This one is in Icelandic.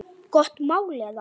Gott mál eða?